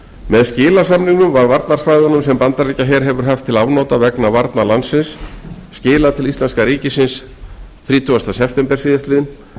með skilasamningnum var varnarsvæðunum sem bandaríkjaher hefur haft til afnota vegna varna landsins skilað til íslenska ríkisins þrítugasta september